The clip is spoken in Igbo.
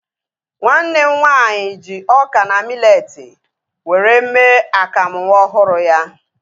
Nwanne m nwaanyị ji ọka na miletii were mee akamu nwa ọhụrụ ya